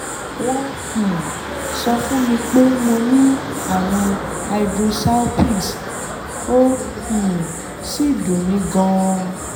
wọ́n um sọ fún mi pé mo ní ààrùn hydrosalpinx ó um sì ń dùn mí gan-an